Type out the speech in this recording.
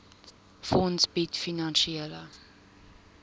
fonds bied finansiële